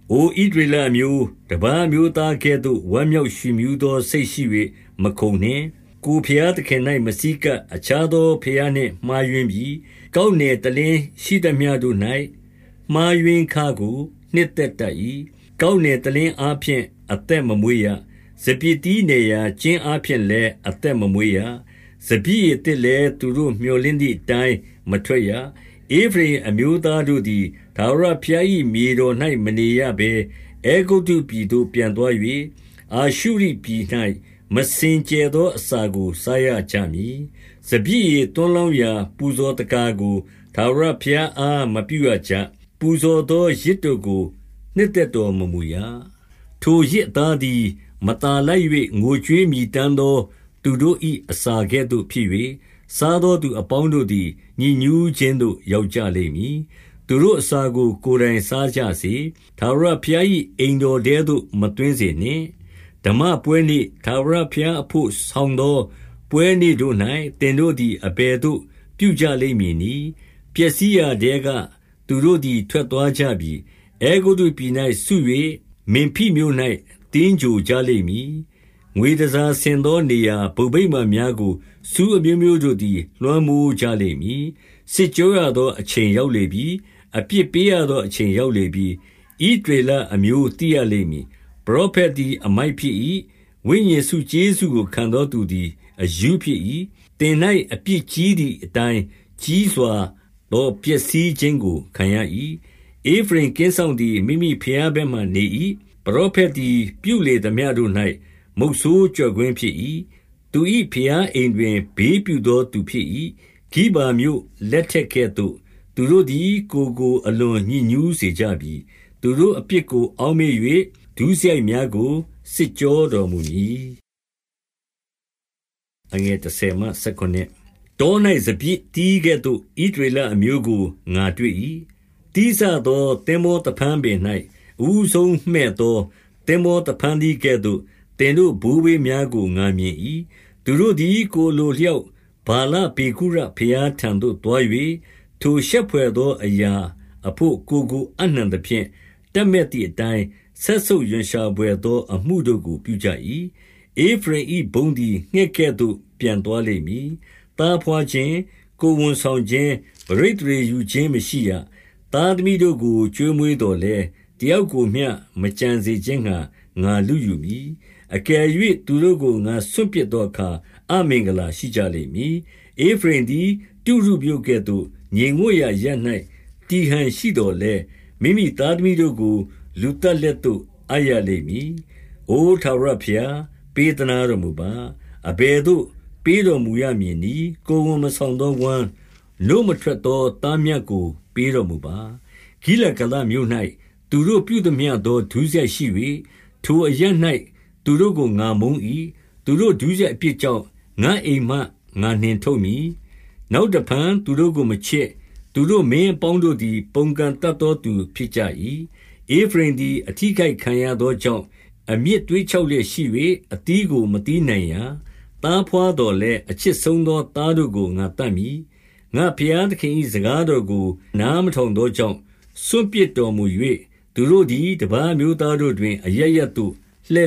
အိုဣသရေလအမျိုး၊ တပါးအမျိုးသားကဲ့သို့ ဝမ်းမြောက်ရွှင်မြူးသော စိတ်ရှိ၍မခုန်နှင့်။ ကိုယ်ဘုရား သခင်၌ မဆည်းကပ်၊ အခြားသော ဘုရားနှင့် မှားယွင်း ပြီ။ ကောက်နယ်တလင်းရှိသမျှတို့၌ မှားယွင်းခကို နှစ် သက်တတ်၏။ ကောက်နယ်တလင်းအားဖြင့် အသက်မမွေးရ။ စပျစ်သီးနယ်ရာ ကျင်းအားဖြင့်လည်း အသက်မမွေးရ။ စပျစ်ရည်သစ်လည်း သူတို့ မြော်လင့်သည်အတိုင်း မထွက် ရ။ ဧဖရိမ်အမျိုးတို့သည် ထာဝရဘုရား၏ မြေ တော်၌ မနေရဘဲ အဲဂုတ္တုပြည်သို့ ပြန်သွား၍၊ အာရှုရိ ပြည်၌ မစင်ကြယ်သောအစာကို စားရကြမည်။ စပျစ်ရည်သွန်းလောင်းရာ ပူဇော်သက္ကာကို ထာဝရဘုရားအား မပြုရကြ။ ပူဇော်သော ယဇ်တို့ကို နှစ်သက်တော်မမူရ။ ထိုယဇ်အသားသည် မသာလိုက်၍ ငိုကြွေးမြည်တမ်းသော သူတို့၏အစာကဲ့သို့ဖြစ်၍၊ စား သောသူအပေါင်းတို့သည် ညစ်ညူးခြင်းသို့ ရောက်ကြလိမ့် မည်။ သူတို့အစာကို ကိုယ်တိုင်စားကြစေ။ ထာဝရဘုရား ၏အိမ်တော်ထဲသို့ မသွင်းစေနှင့်။ ဓမ္မပွဲနေ့၊ ထာဝရဘုရားအဘို့ဆောင်သော ပွဲနေ့ တို့၌ သင်တို့သည် အဘယ်သို့ ပြုကြလိမ့်မည်နည်း။ ပျက်စီးရာထဲက သူတို့သည် ထွက်သွားကြပြီ။ အဲဂုတ္တုပြည်၌စု၍ မင်ဖိမြို့၌ သင်္ဂြိုဟ်ကြလိမ့်မည်။ ငွေ တန်ဆာဆင်သော နေရာဘုံဗိမာန်များကို ဆူးအမျိုးမျိုး တို့သည် လွှမ်းမိုးကြလိမ့်မည်။ စစ်ကြောရသော အချိန်ရောက်လေပြီ။ အပြစ် ပေးရသောအချိန်ရောက်လေပြီ။ ဣသရေလအမျိုး သိရလိမ့်မည်။ ပရောဖက်သည် အမိုက်ဖြစ်၏။ ဝိညာဉ်ဆု ကျေးဇူးကို ခံသောသူသည် အရူးဖြစ်၏။ သင်၌ အပြစ် ကြီးသည်အတိုင်း ကြီးစွာသော ဖျက်ဆီးခြင်းကို ခံရ၏။ ဧဖရိမ်ကင်းစောင့်သည် မိမိဘုရား ဘက်မှာ နေ၏။ ပရောဖက်သည် ပြုလေသမျှတို့၌ မုဆိုးကျော့ကွင်း ဖြစ်၏။ သူ၏ဘုရားအိမ်တွင် ဘေးပြုသော သူဖြစ်၏။ ဂိဗာမြို့ လက်ထက်ကဲ့သို့ သူတို့သည် ကိုယ်ကို အလွန်ညစ်ညူးစေကြပြီ။ သူတို့အပြစ်ကို အောက်မေ့၍ ဒုစရိုက်များကို စစ်ကြောတော်မူမည်။ တော၌ စပျစ်သီးကဲ့သို့ ဣသရေလအမျိုးကို ငါ တွေ့၏။ သီးစသော သင်္ဘောသဖန်းပင်၌ အဦးဆုံးမှည့် သော သင်္ဘောသဖန်းသီးကဲ့သို့ သင်တို့ ဘိုးဘေးများကို ငါမြင်၏။ သူတို့သည် ကိုယ်အလိုအလျောက် ဗာလပေဂုရ ဘုရားထံသို့ သွား၍၊ ထိုရှက်ဘွယ်သောအရာအဘို့ ကိုယ်ကို အပ်နှံသဖြင့် တပ်မက်သည်အတိုင်း စက်ဆုပ် ရွံရှာဘွယ်သော အမှုတို့ကို ပြုကြ၏။ ဧဖရိမ်၏ဘုန်းသည် ငှက်ကဲ့သို့ ပျံသွားလိမ့်မည်။ သားဘွားခြင်း၊ ကိုယ်ဝန်ဆောင်ခြင်း၊ ပဋိသန္ဓေယူခြင်း မရှိရ။ သားသမီးတို့ကို ကျွေးမွေးသော်လည်း၊ တယောက်ကိုမျှ မကျန်စေခြင်းငှါ ငါလုယူမည်။ အကယ် ၍ သူတို့ကို ငါစွန့်ပစ်သောအခါ အမင်္ဂလာရှိကြလိမ့်မည်။ ဧဖရိမ်သည် တုရုမြို့ကဲ့သို့ ငြိမ်ဝပ်ရာအရပ်၌ တည်ဟန်ရှိသော်လည်း၊ မိမိသားသမီးတို့ကို လူသတ်လက် သို့ အပ်ရလိမ့်မည်။ အိုထာဝရဘုရား၊ ပေးသနားတော်မူပါ။ အဘယ် သို့ ပေးတော်မူရမည်နည်း။ ကိုယ်ဝန်မဆောင်သော ဝမ်း၊ နို့မထွက်သော သားမြတ်ကို ပေးတော်မူပါ။ ဂိလဂါလမြို့၌ သူတို့ပြုသမျှသော ဒုစရိုက်ရှိ၍၊ ထိုအရပ်၌ သူတို့ကို ငါမုန်း၏။ သူတို့ ဒုစရိုက်အပြစ် ကြောင့် ငါ့အိမ်မှ ငါနှင်ထုတ်မည်။ နောက်တဖန် သူတို့ကို မချစ်။ သူတို့ မင်းအပေါင်းတို့သည် ပုန်ကန်တတ်သော သူဖြစ်ကြ၏။ ဧဖရိမ်သည် အထိအခိုက်ခံရသောကြောင့်၊ အမြစ်သွေ့ခြောက်လျက်ရှိ၍ အသီးကို မသီးနိုင်ရာ။ သားဘွားသော်လည်း၊ အချစ်ဆုံးသော သားတို့ကို ငါသတ်မည်။ ငါ့ဘုရားသခင်၏ စကားတော်ကို နားမထောင် သောကြောင့် စွန့်ပစ်တော်မူ၍၊ သူတို့သည် တပါးအမျိုး သားတို့တွင် အရပ်ရပ်သို့ လ